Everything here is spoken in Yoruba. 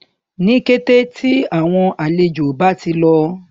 ní kété tí àwọn àlejò bá ti lọ